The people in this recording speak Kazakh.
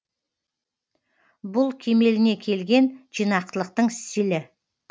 бұл кемеліне келген жинақылықтың стилі